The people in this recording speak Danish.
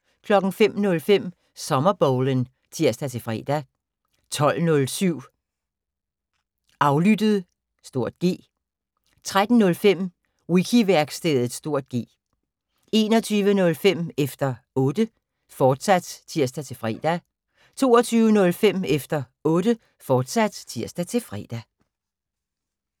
05:05: Sommerbowlen (tir-fre) 12:07: Aflyttet (G) 13:05: Wiki-værkstedet (G) 21:05: Efter Otte, fortsat (tir-fre) 22:05: Efter Otte, fortsat (tir-fre)